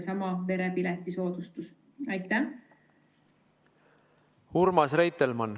Urmas Reitelmann, palun!